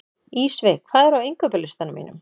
Ísveig, hvað er á innkaupalistanum mínum?